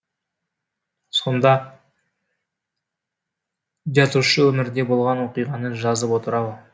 сонда жазушы өмірде болған оқиғаны жазып отыр ау